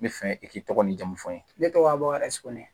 N bɛ fɛ i k'i tɔgɔ ni jamu fɔ n ye ne tɔgɔ abɛrɛsi